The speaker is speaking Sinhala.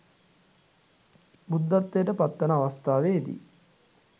බුද්ධත්වයට පත්වන අවස්ථාවේදී